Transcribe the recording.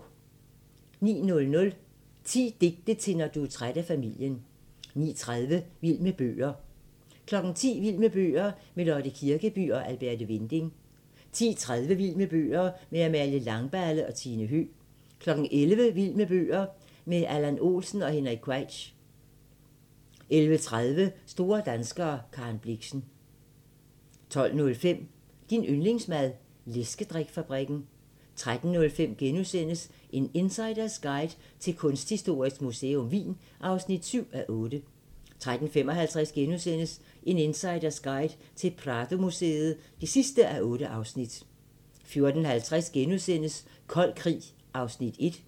09:00: 10 digte til når du er træt af familien 09:30: Vild med bøger 10:00: Vild med bøger - med Lotte Kirkeby og Alberte Winding 10:30: Vild med bøger - med Amalie Langballe og Tine Høegh 11:00: Vild med bøger - med Allan Olsen og Henrik Queitsch 11:30: Store danskere - Karen Blixen 12:05: Din yndlingsmad: Læskedrik-fabrikken 13:05: En insiders guide til Kunsthistorisk Museum Wien (7:8)* 13:55: En insiders guide til Pradomuseet (8:8)* 14:50: Kold krig (1:3)*